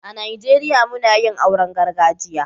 A Najeriya mun yin auren gargajiya.